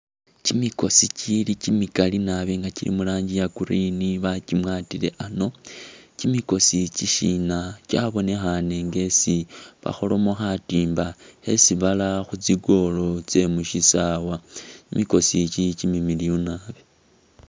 Kyimikosi kyili kyimikaali nabi nga kyili muranji iya green bakimwatile ano ,kyimikosi ikyi shina kyabonekhane nga esi bakholamo khatimba khesi bara mu tsi goal tsyemu'sisaawa ,kyimikosi ikyi kyimimiliyu nabi